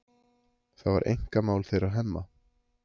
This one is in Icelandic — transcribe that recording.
Það var einkamál þeirra Hemma.